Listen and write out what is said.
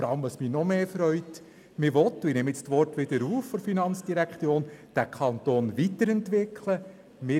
Was mich noch mehr freut ist, dass man – ich nehme die Worte der Finanzdirektorin wieder auf – den Kanton weiterentwickeln will.